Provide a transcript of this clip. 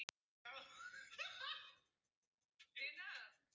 Nokkur dæmi má nefna til skýringar á þessu.